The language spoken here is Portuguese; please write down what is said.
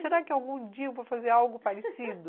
Será que algum dia eu vou fazer algo parecido?